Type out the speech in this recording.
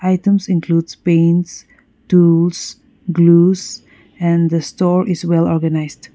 items includes paints tools glues and the store is well organised.